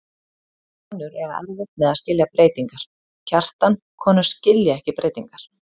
Konur eiga erfitt með að skilja breytingar, Kjartan, konur skilja ekki breytingar.